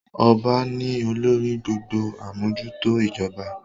Ọba ni olórí gbogbo amojuto ijoba.